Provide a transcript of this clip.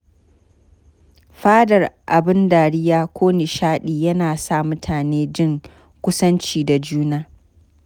Faɗar abin dariya ko nishaɗi yana sa mutane jin kusanci da juna.